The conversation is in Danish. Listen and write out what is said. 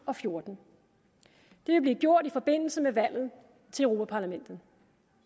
og fjorten det vil blive gjort i forbindelse med valget til europa vi